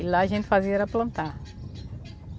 E lá a gente fazia era plantar.